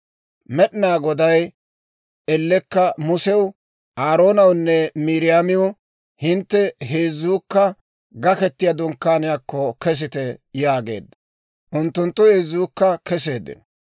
Med'inaa Goday ellekka Musew, Aaroonawunne Miiriyaamiw, «Hintte heezzuukka Gaketiyaa Dunkkaaniyaakko kesite» yaageedda; unttunttu heezzuukka keseeddino.